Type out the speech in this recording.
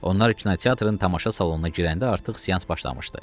Onlar kinoteatrın tamaşa salonuna girəndə artıq seans başlamışdı.